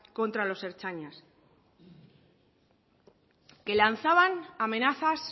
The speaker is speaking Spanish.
contra los ertzainas que lanzaban amenazas